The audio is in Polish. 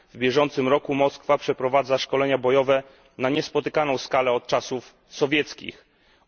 W bieżącym roku Moskwa przeprowadza szkolenia bojowe na niespotykaną od czasów sowieckich skalę.